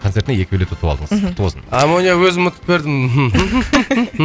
концертіне екі билет ұтып алдыңыз мхм құтты болсын амоня өзім ұтып бердім